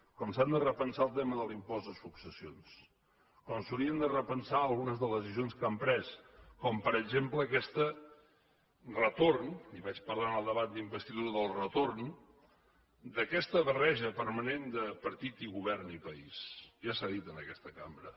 com s’han de repensar el tema de l’impost de successions com s’haurien de repensar algunes de les decisions que han pres com per exemple aquest retorn li vaig parlar en el debat d’investidura del retorn d’aquesta barreja permanent de partit i govern i país ja s’ha dit en aquesta cambra